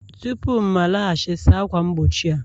Tupu m alaghachi, saa ákwà mgbochi a!